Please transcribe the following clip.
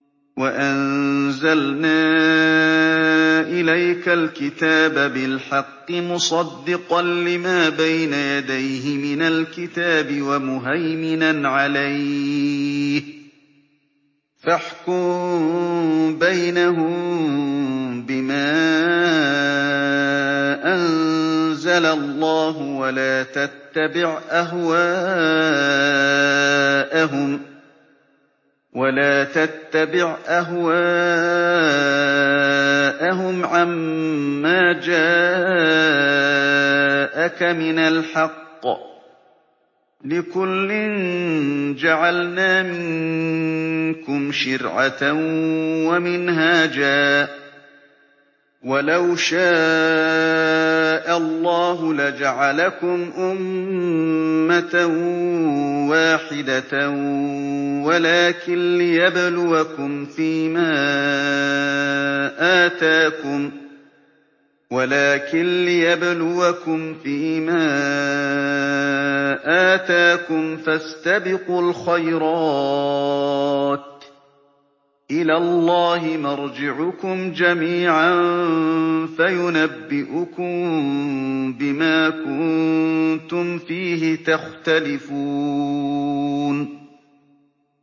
وَأَنزَلْنَا إِلَيْكَ الْكِتَابَ بِالْحَقِّ مُصَدِّقًا لِّمَا بَيْنَ يَدَيْهِ مِنَ الْكِتَابِ وَمُهَيْمِنًا عَلَيْهِ ۖ فَاحْكُم بَيْنَهُم بِمَا أَنزَلَ اللَّهُ ۖ وَلَا تَتَّبِعْ أَهْوَاءَهُمْ عَمَّا جَاءَكَ مِنَ الْحَقِّ ۚ لِكُلٍّ جَعَلْنَا مِنكُمْ شِرْعَةً وَمِنْهَاجًا ۚ وَلَوْ شَاءَ اللَّهُ لَجَعَلَكُمْ أُمَّةً وَاحِدَةً وَلَٰكِن لِّيَبْلُوَكُمْ فِي مَا آتَاكُمْ ۖ فَاسْتَبِقُوا الْخَيْرَاتِ ۚ إِلَى اللَّهِ مَرْجِعُكُمْ جَمِيعًا فَيُنَبِّئُكُم بِمَا كُنتُمْ فِيهِ تَخْتَلِفُونَ